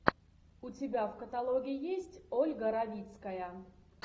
у тебя в каталоге есть ольга равицкая